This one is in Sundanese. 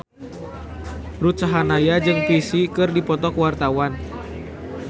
Ruth Sahanaya jeung Psy keur dipoto ku wartawan